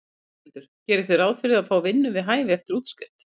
Þórhildur: Gerið þið ráð fyrir að fá vinnu við hæfi eftir útskrift?